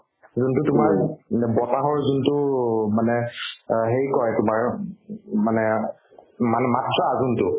যোনতো তোমাৰ মানে বতাহৰ যোনতো মানে অ সেই কই তোমাৰ উব উব মানে মানে মাত্ৰা যোনতো